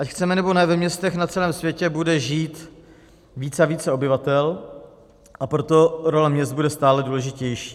Ať chceme, nebo ne, ve městech na celém světě bude žít více a více obyvatel, a proto role měst bude stále důležitější.